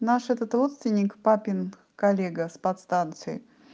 наш этот родственник папин коллега с подстанции